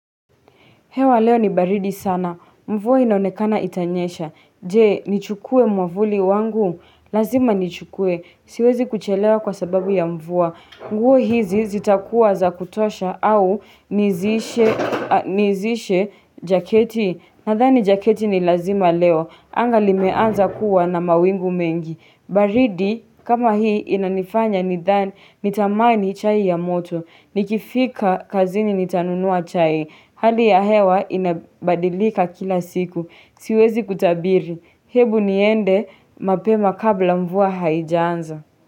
Hewa leo ni baridi sana. Mvua inaonekana itanyesha. Je, nichukue mwavuli wangu. Lazima nichukue. Siwezi kuchelewa kwasababu ya mvua. Nguo hizi zitakuwa za kutosha au nizishe jaketi. Nathani jaketi ni lazima leo. Anga limeanza kuwa na mawingu mengi. Baridi, kama hii inanifanya nitamani chai ya moto. Nikifika kazini nitanunua chai. Hali ya hewa inabadilika kila siku. Siwezi kutabiri. Hebu niende mapema kabla mvua haijaanza.